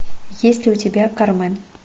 есть ли у тебя кармен